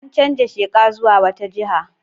An canza sheka zuwa wata jiha.